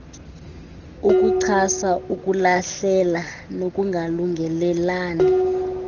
yokuchasa ukulahlela nokungalungelelani